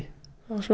það var